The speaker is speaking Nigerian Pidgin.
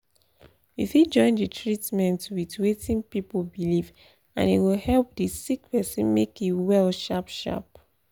we fit join the treatment with wetin people believe and e go help the sick person make e well sharp sharp.